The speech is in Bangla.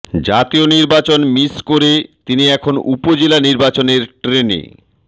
জাতীয় নির্বাচন মিস করে তিনি এখন উপজেলা নির্বাচনের ট্রেনে